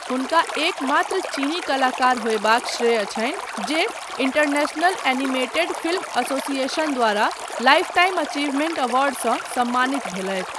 हुनका एकमात्र चीनी कलाकार होयबाक श्रेय छनि जे इंटरनेशनल एनिमेटेड फिल्म एसोसिएशन द्वारा लाइफटाइम अचीवमेंट अवार्डसँ सम्मानित भेलथि।